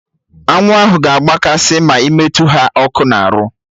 Arụrụ ahụ ga agba kasị ma ị metụ ha ọkụ na arụ